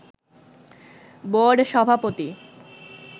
board সভাপতি